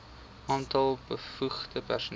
aantal bevoegde personeel